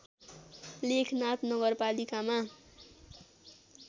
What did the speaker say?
लेखनाथ नगरपालिकामा